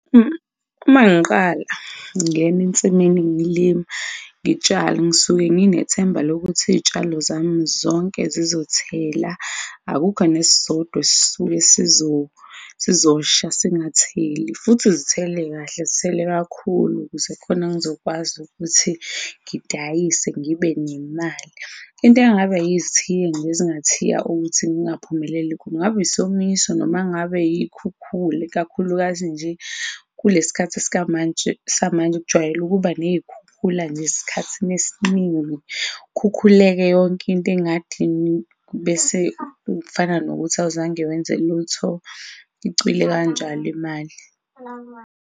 Uma ngiqala ngingena ensimini ngilima, ngitshale ngisuke nginethemba lokuthi iyitshalo zami zonke zizothela, akukho nesisodwa esuke sizosha singatheli, futhi zithele kahle zithele kakhulu ukuze khona ngizokwazi ukuthi ngidayise ngibe nemali. Into engabe izithiyo nje ezingathiya ukuthi ngingaphumeleli, kungaba isomiso noma ngabe iyikhukhula ikakhulukazi nje kulesikhathi samanje kujwayele ukuba neyikhukhula nje esikhathini esiningi khukhuleke yonke into engadini bese kufana nokuthi awuzange wenze lutho icwile kanjalo imali.